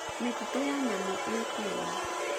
Mititũ ya nyamũ ĩĩ Kenya.